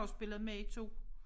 Har jo spillet med i 2